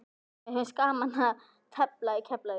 Mér finnst gaman að tefla í Keflavík.